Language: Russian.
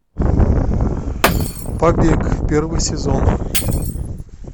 побег первый сезон